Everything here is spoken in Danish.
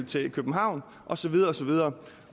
til københavn og så videre og så videre